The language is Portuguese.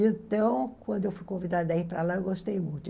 Então, quando eu fui convidada a ir para lá, eu gostei muito.